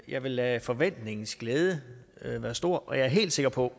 jeg vil lade forventningens glæde være stor og jeg er helt sikker på